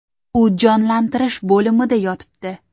U jonlantirish bo‘limida yotibdi.